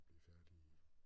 Og blev færdig i